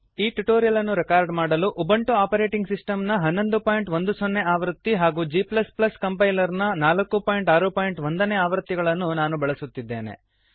ಈ ಟ್ಯುಟೋರಿಯಲ್ ಅನ್ನು ರೆಕಾರ್ಡ್ ಮಾಡಲು ಉಬುಂಟು ಆಪರೇಟಿಂಗ್ ಸಿಸ್ಟಮ್ ನ 1110 ಆವೃತ್ತಿ ಹಾಗೂ g ಕಂಪೈಲರ್ ನ 461 ನೇ ಆವೃತ್ತಿಗಳನ್ನು ನಾನು ಬಳಸುತ್ತಿದ್ದೇನೆ